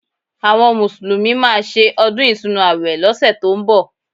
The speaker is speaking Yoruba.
Àwọn Mùsùlùmí máa ṣe ọdún Ìtúnu àwẹ̀ lọ́sẹ̀ tó ń bọ̀